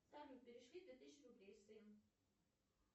салют перешли две тысячи рублей сын